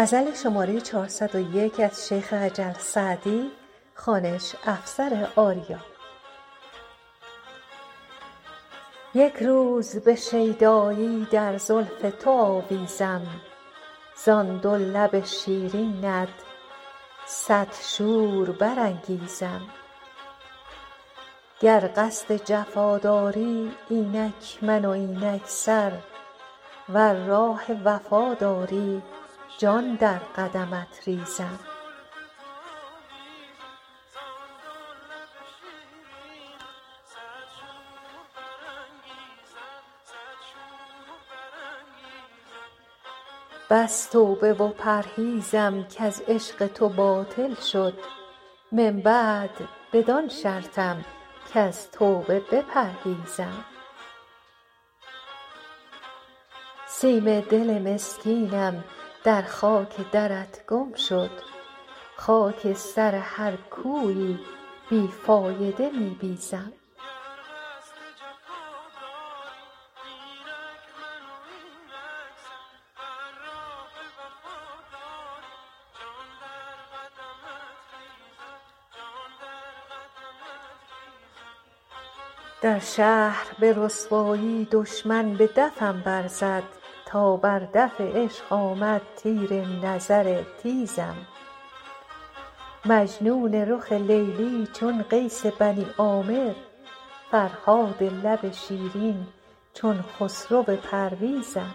یک روز به شیدایی در زلف تو آویزم زان دو لب شیرینت صد شور برانگیزم گر قصد جفا داری اینک من و اینک سر ور راه وفا داری جان در قدمت ریزم بس توبه و پرهیزم کز عشق تو باطل شد من بعد بدان شرطم کز توبه بپرهیزم سیم دل مسکینم در خاک درت گم شد خاک سر هر کویی بی فایده می بیزم در شهر به رسوایی دشمن به دفم برزد تا بر دف عشق آمد تیر نظر تیزم مجنون رخ لیلی چون قیس بنی عامر فرهاد لب شیرین چون خسرو پرویزم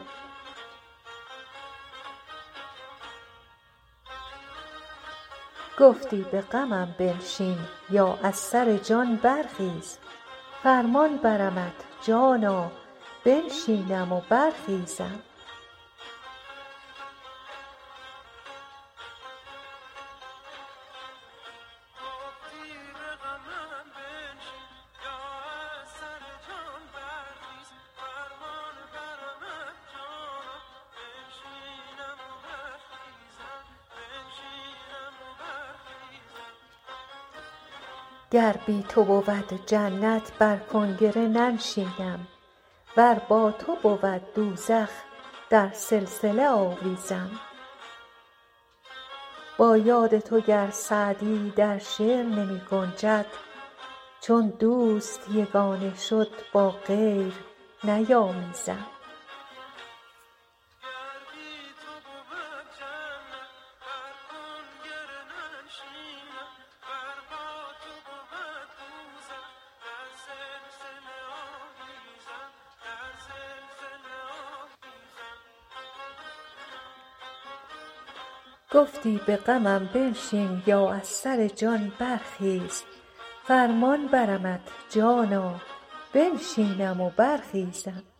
گفتی به غمم بنشین یا از سر جان برخیز فرمان برمت جانا بنشینم و برخیزم گر بی تو بود جنت بر کنگره ننشینم ور با تو بود دوزخ در سلسله آویزم با یاد تو گر سعدی در شعر نمی گنجد چون دوست یگانه شد با غیر نیامیزم